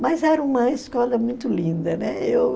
Mas era uma escola muito linda, né?